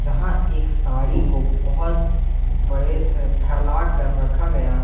जहाँ एक साड़ी को बहुत बड़े से फैला कर रखा गया है।